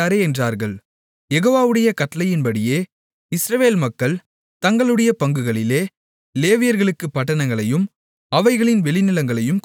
யெகோவாவுடைய கட்டளையின்படியே இஸ்ரவேல் மக்கள் தங்களுடைய பங்குகளிலே லேவியர்களுக்குப் பட்டணங்களையும் அவைகளின் வெளிநிலங்களையும் கொடுத்தார்கள்